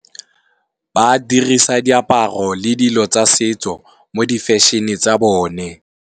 Ba dirisa diaparo le dilo tsa setso mo di fashion-e tsa bone.